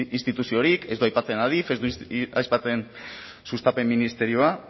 instituziorik ez du aipatzen adif ez du aipatzen sustapen ministerioa